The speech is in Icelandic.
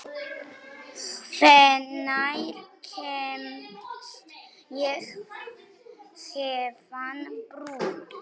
Hvenær kemst ég héðan burt?